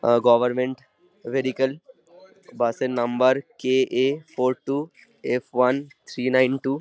এ government vehicle bus এর number কে A four two F one three nine two.